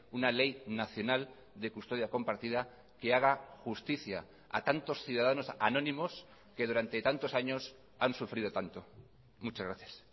una ley nacional de custodia compartida que haga justicia a tantos ciudadanos anónimos que durante tantos años han sufrido tanto muchas gracias